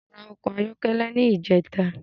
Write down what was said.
Mo ra ọkọ̀ ayọ́kẹ́lẹ́ ní ìjẹta